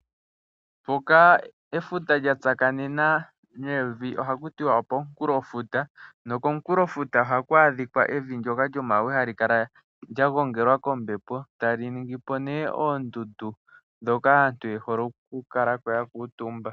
Mpoka efuta lya tsakanena nevi oha kutiwa okomunkulofuta, nokomunkulofuta ohaku adhika evi lyoka lyomawe hali kala lya gongelwa kombepo tali ningipo nee oondundu dhoka aantu yehole ku kalako ya kuutumba.